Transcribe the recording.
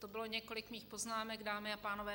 To bylo několik mých poznámek, dámy a pánové.